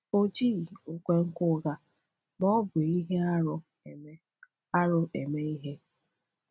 O jighị nkwenkwe ụgha ma ọ bụ ihe arụ eme arụ eme ihe.